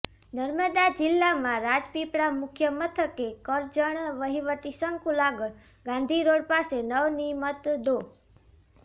નર્મદા જિલ્લામાં રાજપીપળા મુખ્યમથકે કરજણ વહીવટી સંકુલ આગળ ગાંધીરોડ પાસે નવર્નિિમત ડો